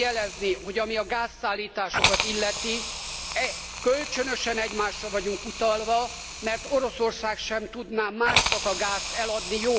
Szeretném jelezni, hogy ami a gázszállításokat illeti, kölcsönösen egymásra vagyunk utalva, mert Oroszország sem tudná a gázt másnak eladni.